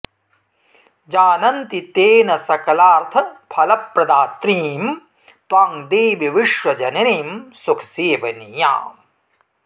जानन्ति ते न सकलार्थफलप्रदात्रीं त्वां देवि विश्वजननीं सुखसेवनीयाम्